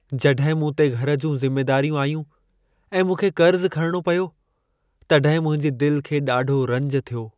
जॾहिं मूं ते घर जूं ज़िमेदारियूं आयूं ऐं मूंखे कर्ज़ु खणणो पियो, तॾहिं मुंहिंजी दिल खे ॾाढो रंज थियो।